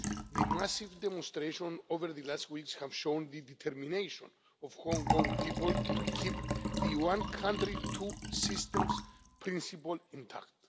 The massive demonstrations over the last weeks have shown the determination of the Hong Kong people to keep the one country, two systems' principle intact.